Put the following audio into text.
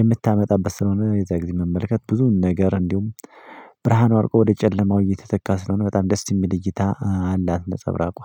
የምታመጣበት ስለሆነ የዛ ጊዜ መመልከት ብዙ ነገር። እንዲሁም ብርሃኑ አድርጎ ወደ ጨለማው እየተተካ ስለሆነ በጣም ደስ ይምል እይታ አላት ነፀብራቋ